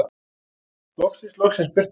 Loksins, loksins birti.